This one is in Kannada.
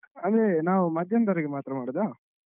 ಅಂದ್ರೆ ನಾವು ಮದ್ಯಾಹ್ನದವರೆಗೆ ಮಾತ್ರ ಮಾಡುದ?